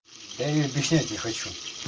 я и объяснять не хочу